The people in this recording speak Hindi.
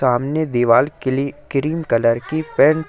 सामने दीवाल क्ली क्रीम कलर की पेंट --